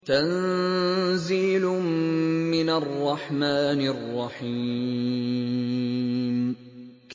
تَنزِيلٌ مِّنَ الرَّحْمَٰنِ الرَّحِيمِ